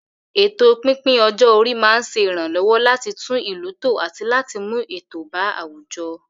Ètò pípín ọjọ́ orí máa ń ṣe ìrànlọ́wọ́ láti tún ìlú tò àti láti mú ètò bá àwùjọ.